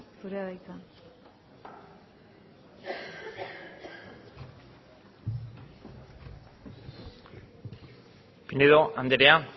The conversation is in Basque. zurea da hitza pinedo andrea